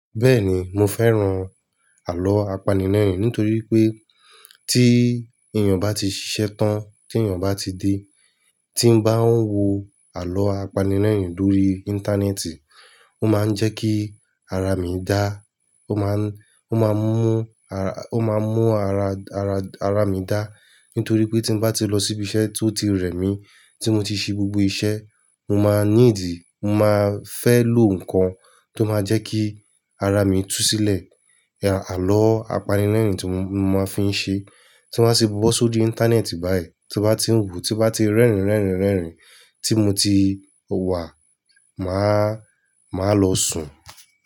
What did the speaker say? Bẹ́ẹ̀ni mo fẹ́ràn àlọ́ apanilẹ́rìn nítorí pé tí èèyàn bá ti ṣiṣẹ́ tán tí èèyàn bá ti dé tí n bá ń wo àlọ́ apanilẹ́rìn lórí Íńtánẹ́ẹ̀tì ó máa ń jẹ́ kí ara mi dá a máa ń ó máa ń mú ara ó máa ń mú ara ara ara mi dá. Nítorí pé tí n bá ti lọ síbí iṣẹ́ tó ti rẹ̀ mí tí mo ti ṣe gbogbo iṣẹ́ mo máa ní ìdí mo máa fẹ́ lo nǹkan tó máa jẹ́ kí ara mi tú sílẹ̀. Àlọ́ apanirẹ́rìn tí mo máa fi ń ṣe tí wọ́n bá ti wọ̀ sórí Íńtánẹ́ẹ̀tì báyìí tí mo bá ti ń wò tí mo bá ti rẹ́rìn rẹ́rìn rẹ́rìn tí mo ti wà máa máa lọ sùn.